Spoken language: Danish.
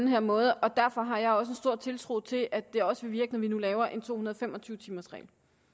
her område og derfor har jeg stor tiltro til at det også vil virke når vi nu laver en to hundrede og fem og tyve timers regel